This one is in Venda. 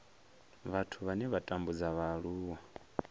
vhathu vhane vha tambudza vhaaluwa